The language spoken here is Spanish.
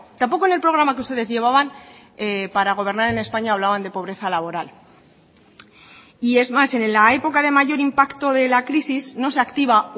tampoco en el programa que ustedes llevaban para gobernar en españa hablaban de pobreza laboral y es más en la época de mayor impacto de la crisis no se activa